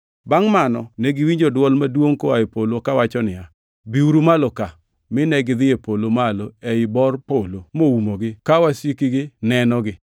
Bangʼ mano negiwinjo dwol maduongʼ koa e polo kawachonegi niya, “Biuru malo ka!” Mine gidhi e polo malo ei bor polo moumogi, ka wasikgi nenogi.